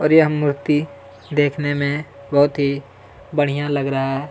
और यह मूर्ति देखने में बहुत ही बढ़िया लग रहा है।